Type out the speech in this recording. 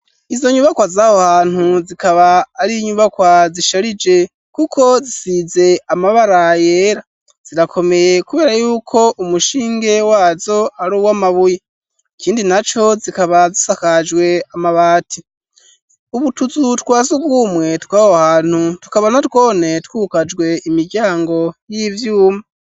Izo nyubakwa zaho hantu zikaba ari nyubakwa zisharije kuko zisize amabara yera zirakomeye kubera yuko umushinge wazo aruwa mabuye ikindi naco zikaba zisakajwe amabati utuzu twa sugumwe twaho hantu tuka na twone twugajwe imiryango y'ivyuma.